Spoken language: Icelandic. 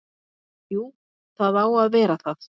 Jú, það á að vera það.